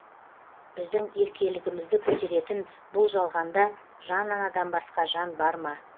біздің еркелігімізді көтеретін бұл жалғанда жан анадан басқа жан бар ма